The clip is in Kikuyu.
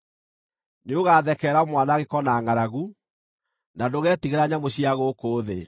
Nĩũgathekerera mwanangĩko na ngʼaragu, na ndũgetigĩra nyamũ cia gũkũ thĩ.